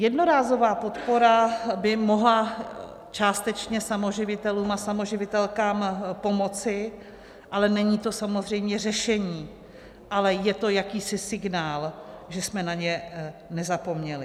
Jednorázová podpora by mohla částečně samoživitelům a samoživitelkám pomoci, ale není to samozřejmě řešení, ale je to jakýsi signál, že jsme na ně nezapomněli.